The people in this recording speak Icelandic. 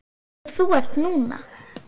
Eins og þú ert núna.